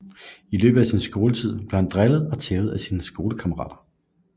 I løbet af sin skoletid bliver han drillet og tævet af sine klassekammerater